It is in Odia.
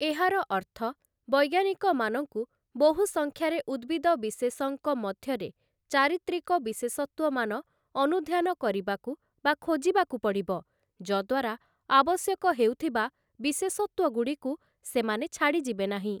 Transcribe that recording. ଏହାର ଅର୍ଥ, ବୈଜ୍ଞାନିକମାନଙ୍କୁ ବହୁସଂଖ୍ୟାରେ ଉଦ୍ଭିଦ ବିଶେଷଙ୍କ ମଧ୍ୟରେ ଚାରିତ୍ରିକ ବିଶେଷତ୍ଵମାନ ଅନୁଧ୍ୟାନ କରିବାକୁ ବା ଖୋଜିବାକୁ ପଡ଼ିବ, ଯଦ୍ୱାରା ଆବଶ୍ୟକ ହେଉଥିବା ବିଶେଷତ୍ଵଗୁଡ଼ିକୁ ସେମାନେ ଛାଡ଼ିଯିବେନାହିଁ ।